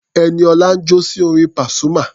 Ẹniọlá ń jó sí orin Pasuma.